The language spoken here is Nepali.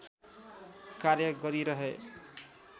कार्य गरिरहे